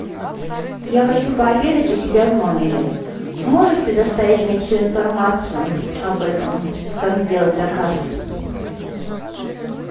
я хочу пообедать у себя в номере можешь предоставить мне всю информацию об этом как сделать заказ